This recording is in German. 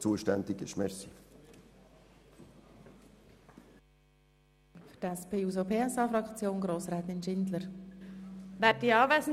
Punkt 1 lehnen wir ab, weil dort die Stadt zuständig ist.